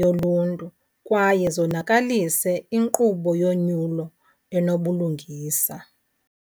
yoluntu kwaye zonakalise inkqubo yonyulo enobulungisa.